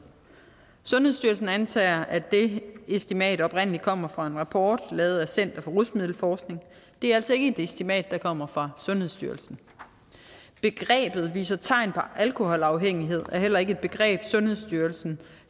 sundhedsstyrelsen antager at det estimat oprindelig kommer fra en rapport lavet af center for rusmiddelforskning det er altså ikke et estimat der kommer fra sundhedsstyrelsen begrebet viser tegn på alkoholafhængighed er heller ikke et begreb sundhedsstyrelsen